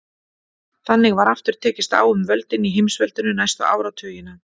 Þannig var aftur tekist á um völdin í heimsveldinu næstu áratugina.